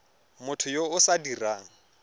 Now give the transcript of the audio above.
motho yo o sa dirang